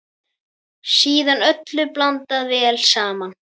Síðan öllu blandað vel saman.